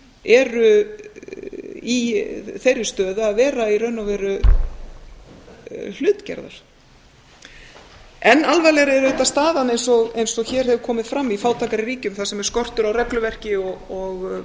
eru í þeirri stöðu að vera í raun og veru hlutgerðar enn alvarlegri er auðvitað staðan eins og hér hefur komið fram í fátækari ríkjum þar sem er skortur á regluverki og